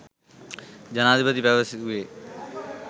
ජනාධිපති පැවසුවේය.